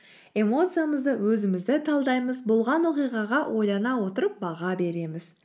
эмоциямызды өзімізді талдаймыз болған оқиғаға ойлана отырып баға береміз